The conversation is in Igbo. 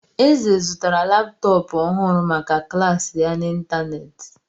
Eze zụtara laptọọpụ ọhụrụ maka klas ya n'ịntanetị.